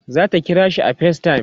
zata kirashi a facetime